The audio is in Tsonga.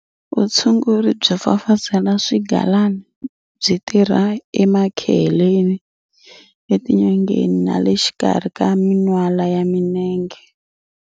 Vutshunguri byo fafazela swigalana byi tirha emakeheleni, etinyongeni na le xikarhi ka minwala ya mienge.